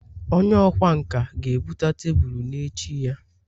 onye ọkwá nkà ga-ebute tebụl n'echi ya